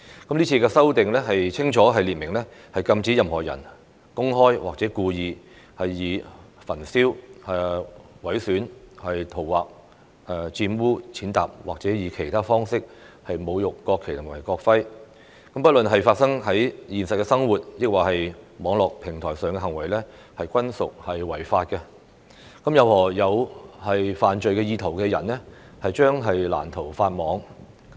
這次的修訂清楚列明禁止任何人公開或故意以焚燒、毀損、塗劃、玷污、踐踏或以其他方式侮辱國旗和國徽，不論是發生在現實生活抑或網絡平台上的行為，均屬違法，任何有犯罪意圖的人將難逃法網。